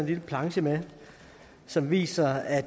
lille planche med som viser at